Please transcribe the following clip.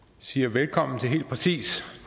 siger velkommen til helt præcist